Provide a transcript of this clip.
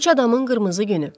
Üç adamın qırmızı günü.